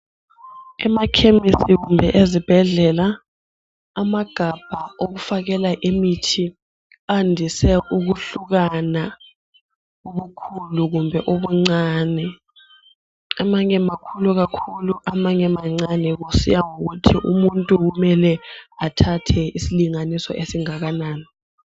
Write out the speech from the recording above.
Emakhemisi kumbe ezibhedlela amagabha wokufakela imithi andise ukuhlukana ubukhulu kumbe ubuncane amanye makhulu amanye mancane kusiya ngokuthi umuntu kumele athathe isilinganiso esingakanani.